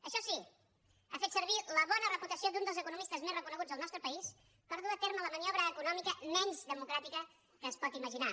això sí ha fet servir la bona reputació d’un dels economistes més reconeguts del nostre país per dur a terme la maniobra econòmica menys democràtica que es pot imaginar